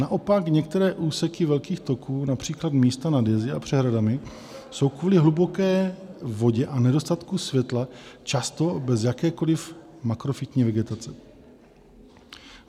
Naopak některé úseky velkých toků, například místa nad jezy a přehradami, jsou kvůli hluboké vodě a nedostatku světla často bez jakékoli makrofytní vegetace.